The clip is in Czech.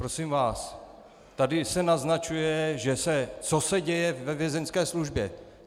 Prosím vás, tady se naznačuje, co se děje ve vězeňské službě.